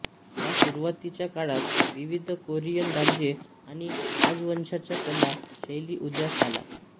या सुरुवातीच्या काळात विविध कोरियन राज्ये आणि राजवंशांच्या कला शैली उदयास आल्या